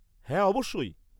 হ্যাঁ, অবশ্যই।